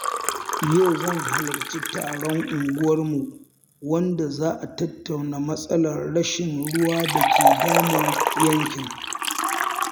Yau zan halarci taron unguwarmu wanda za a tattauna matsalar rashin ruwa da ke damun yankin.